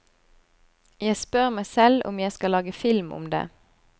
Jeg spør meg selv om jeg skal lage film om det.